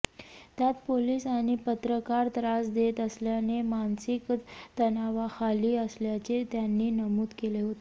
त्यात पोलीस आणि पत्रकार त्रास देत असल्याने मानसिक तणावाखाली असल्याचे त्यांनी नमूद केले होते